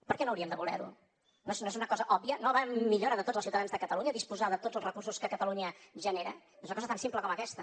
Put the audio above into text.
per què no hauríem de voler ho no és una cosa òbvia no va en millora de tots els ciutadans de catalunya disposar de tots els recursos que catalunya genera és una cosa tan simple com aquesta